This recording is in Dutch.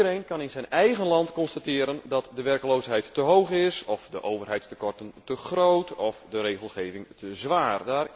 Iedereen kan in zijn eigen land constateren dat de werkloosheid te hoog is of de overheidstekorten te groot of de regelgeving te zwaar.